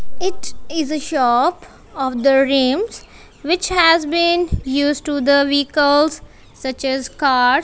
it is a shop of the rims which has been used to the vehicles such as cars.